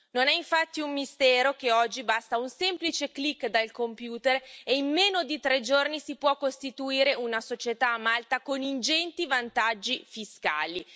Non è infatti un mistero che oggi basta un semplice click del computer e in meno di tre giorni si può costituire una società a Malta, con ingenti vantaggi fiscali.